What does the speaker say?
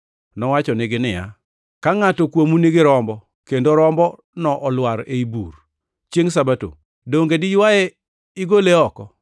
Nowachonegi niya, “Ka ngʼato kuomu nigi rombo kendo rombono olwar ei bur chiengʼ Sabato, donge diywaye igole oko?